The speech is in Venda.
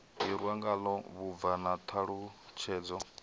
hirwa ngalo vhubvo na ṱhalutshedzo